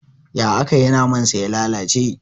Ya akayi naman sa ya lalace?